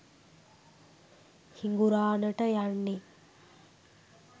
හිඟුරාණට යන්නෙ